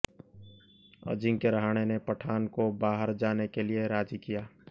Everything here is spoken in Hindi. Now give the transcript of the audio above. अजिंक्य रहाणे ने पठान को बाहर जाने के लिए राजी किया